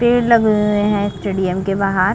पेड़ लगे है स्टेडियम के बाहर --